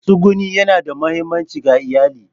Matsuguni yana da mahimmanci ga iyali.